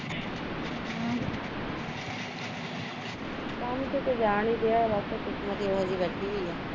ਕੰਮ ਤੇ ਤਾਂ ਜਾਣ ਈ ਡੀਆ ਵਾ ਪਰ ਕਿਸਮਤ ਈ ਇਹੋ ਜਿਹੀ ਬੈਠੀ ਹੋਈ ਐ